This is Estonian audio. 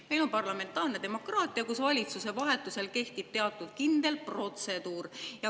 Meil on parlamentaarne demokraatia, kus valitsuse vahetuse puhul kehtib teatud kindel protseduur.